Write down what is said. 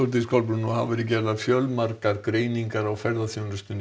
nú hafa verið gerðar fjölmargar greiningar á ferðaþjónustunni